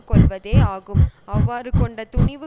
கொள்வதே ஆகும் அவ்வாறு கொண்ட துணிவு